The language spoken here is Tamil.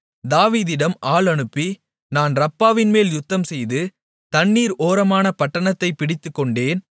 தாவீதிடம் ஆள் அனுப்பி நான் ரப்பாவின்மேல் யுத்தம்செய்து தண்ணீர் ஓரமான பட்டணத்தைப் பிடித்துக்கொண்டேன்